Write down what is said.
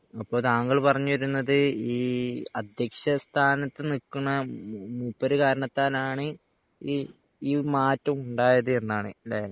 അപ്പൊ താങ്കൾ പറഞ്ഞു വരുന്നത് ഈ അധ്യക്ഷ സ്ഥാനത് നിക്കുന്ന മൂപ്പർ കാരണത്താൽ ആണ് ഇ ഈ മാറ്റം ഉണ്ടായത് എന്നാണ് അല്ലെ